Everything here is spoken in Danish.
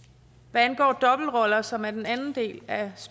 hvad angår dobbeltroller som er den anden del af